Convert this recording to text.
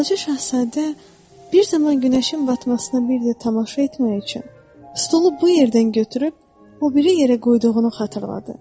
Balaca şahzadə bir zaman günəşin batmasına bir də tamaşa etmək üçün stulu bu yerdən götürüb o biri yerə qoyduğunu xatırladı.